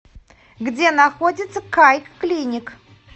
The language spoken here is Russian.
где находится кайклиник